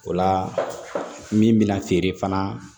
O la min bɛna feere fana